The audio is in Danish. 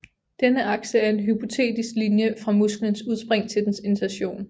Denne akse er en hypotetisk linje fra musklens udspring til dens insertion